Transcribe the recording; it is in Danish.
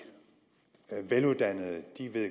veluddannede